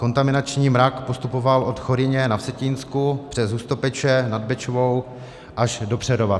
Kontaminační mrak postupoval od Choryně na Vsetínsku přes Hustopeče nad Bečvou až do Přerova.